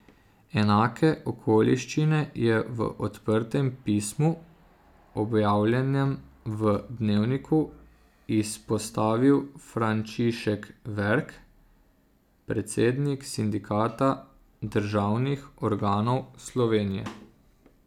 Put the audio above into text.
Enake okoliščine je v odprtem pismu, objavljenem v Dnevniku, izpostavil Frančišek Verk, predsednik Sindikata državnih organov Slovenije.